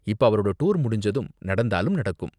இப்ப அவரோட டூர் முடிஞ்சதும் நடந்தாலும் நடக்கும்.